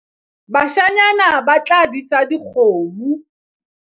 bashanyana ba tla disa dikgomo